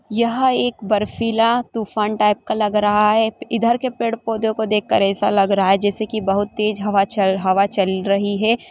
यह एक बर्फीला तूफान टाइप का लग रहा है इधर के पेड़- पौधों को देखकर एसा लग रहा है जैसे कि बहोत तेज हवा चल हवा चल रही हैं।